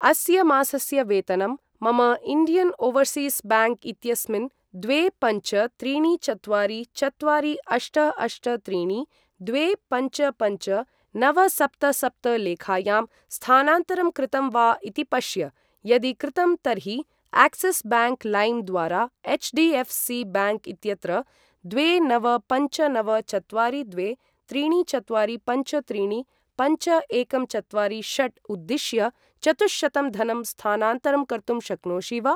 अस्य मासस्य वेतनं मम इण्डियन् ओवर्सीस् ब्याङ्क् इत्यस्मिन् द्वे पञ्च त्रीणि चत्वारि चत्वारि अष्ट अष्ट त्रीणि द्वे पञ्च पञ्च नव सप्त सप्त लेखायां स्थानान्तरं कृतम् वा इति पश्य। यदि कृतं तर्हि आक्सिस् ब्याङ्क् लैम् द्वारा एच्.डी.एफ्.सी. ब्याङ्क् इत्यत्र द्वे नव पञ्च नव चत्वारि द्वे त्रीणि चत्वारि पञ्च त्रीणि पञ्च एकं चत्वारि षट् उद्दिश्य चतुःशतं धनं स्थानान्तरं कर्तुं शक्नोषि वा?